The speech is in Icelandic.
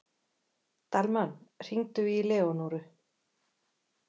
Dalmann, hringdu í Leónóru.